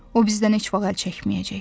O bizdən heç vaxt əl çəkməyəcək.